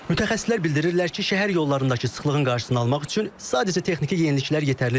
Mütəxəssislər bildirirlər ki, şəhər yollarındakı sıxlığın qarşısını almaq üçün sadəcə texniki yeniliklər yetərli deyil.